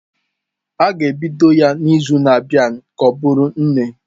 A ga-ebido ya n'izu na-abịa ka ọ bụrụ nne.